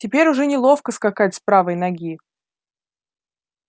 теперь уже неловко скакать с правой ноги